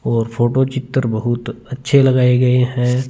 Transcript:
और फोटो चित्र बहुत अच्छे लगाए गए है।